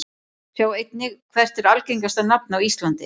Sjá einnig: Hvert er algengasta nafn á íslandi?